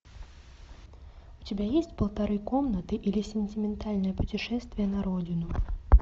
у тебя есть полторы комнаты или сентиментальное путешествие на родину